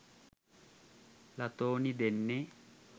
ලතෝනි දෙන්නෙ.